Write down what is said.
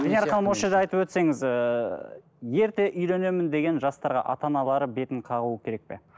венера ханым осы жерде айтып өтсеңіз ыыы ерте үйленемін деген жастарға ата аналары бетін қағу керек пе